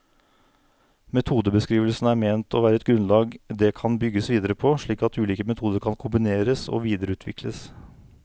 Metodebeskrivelsene er ment å være et grunnlag det kan bygges videre på, slik at ulike metoder kan kombineres og videreutvikles.